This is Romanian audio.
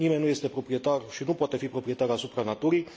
Nimeni nu este proprietar și nu poate fi proprietar asupra naturii.